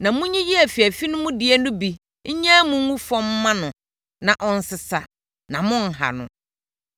Na monyiyi afiafi no mu deɛ no bi nnyae mu ngu fam mma no na ɔnsesa, na monnha no.”